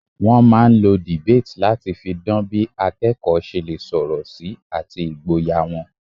Wọ́n máà ń lo debate láti fi dan bí akẹ́kọ̀ọ́ ṣe lè sọ̀rọ̀ sí àti ìgboyà wọn.